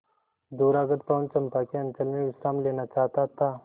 दूरागत पवन चंपा के अंचल में विश्राम लेना चाहता था